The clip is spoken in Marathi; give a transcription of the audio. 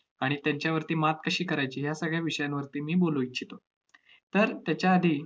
आणि त्यांच्यावरती मात कशी करायची, या सगळ्या विषयांवरती मी बोलू इच्छितो. तर त्याच्या आधी